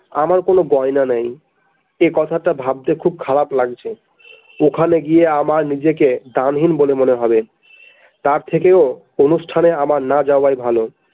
আমার কোন গয়না নাই একথাটা ভাবতে খুব খারাপ লাগছে ওখানে গিয়ে আমার নিজেকে দামহীন বলে মনে হবে তার থেকেও অনুষ্ঠানে আমার না যাওয়াই ভালো।